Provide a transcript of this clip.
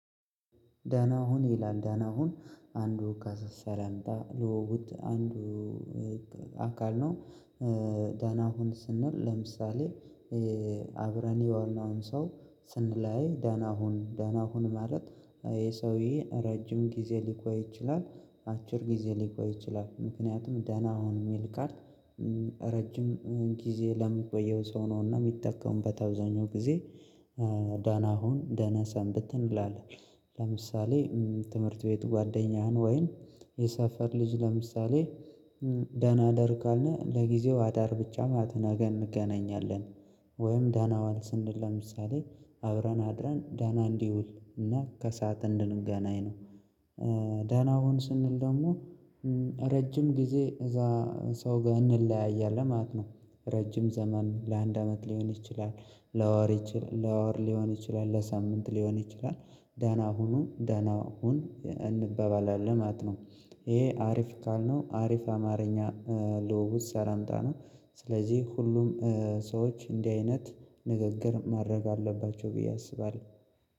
ደህና ሁን ይላል ደህና ሁን አንዱ ከሰላምታ ልውውጣ አንዱ አካል ነው። ደህና ሁን ስንል ለምሳሌ አብረን የዋልነውን ሰው ስንላያይ ደህና ሁን ደህና ሁን ማለት ይሄ ሰውዬ ረጅም ጊዜ ሊቆይ ይችላል። አጭር ጊዜ ሊቆይ ይችላል ምክንያቱም ደህና አሁን የሚል ቃል። ረጅም ጊዜ ለሚቆየው ሰው ነውና የሚጠቀሙበት አብዛኛው ጊዜ ደህና ሁን ደህና ሰንብት እንላለን። ለምሳሌ ትምህርት ቤት ጓደኛህን ወይም የሰፈር ልጅ ለምሳሌ። ደህና እደር ካልን ለጊዜው አዳር ብቻ ማለት ነው ነገ እንገናኛለን። ወይም ደህና ዋል ስንል ለምሳሌ አብረን አድረን ደህና እንዲውል እና ከሰአት እንድንገናኝ ነው። ደህና ሁን ስንል ደግሞ ረጅም ጊዜ እዛ ሰው ጋር እንለያያለን ማለት ነው። ረጅም ዘመን ለአንድ አመት ሊሆን ይችላል። ለወር ሊሆን ይችላል ለሳምንት ሊሆን ይችላል ደህና ሁኑ ደህና ሁን እንበባላለን ማለት ነው። ይሄ አሪፍ ካልነው አሪፍ አማርኛ ልውውጥ ሰላምታ ነው። ስለዚህ ሁሉም ሰዎች እንዲህ አይነት ንግግር ማድረግ አለባቸው ብዬ አስባለሁ